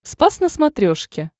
спас на смотрешке